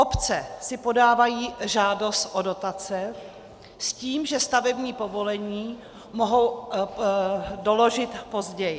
Obce si podávají žádost o dotace s tím, že stavební povolení mohou doložit později.